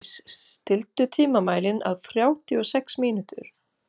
Illíes, stilltu tímamælinn á þrjátíu og sex mínútur.